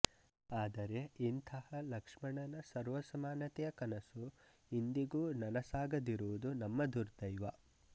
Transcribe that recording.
ಆದರೆ ಇಂತಹ ಲಕ್ಷ್ಮಣನ ಸರ್ವಸಮಾನತೆಯ ಕನಸು ಇಂದಿಗೂನನಸಾಗದಿರುವುದು ನಮ್ಮ ದುರ್ದೈವ